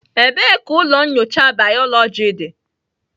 Ebee ka ụlọ nyocha bayoloji dị?